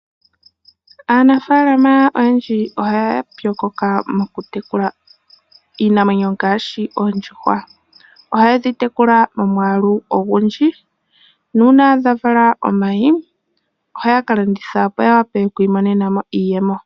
Aanimuna oyendji oya pyokoka mokutekula iinamwenyo ngaashi oondjuhwa. Ohadhi tekulwa momwaalu omunene ngele dha vala omayi, ohaya landitha opo ya mone iiyemo.